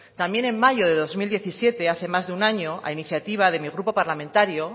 también en mayo de dos mil diecisiete hace más de un año a iniciativa de mi grupo parlamentario